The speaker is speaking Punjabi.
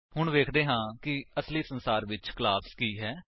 ਹੁਣ ਵੇਖਦੇ ਹਾਂ ਕਿ ਅਸਲੀ ਸੰਸਾਰ ਵਿੱਚ ਕਲਾਸ ਕੀ ਹੈ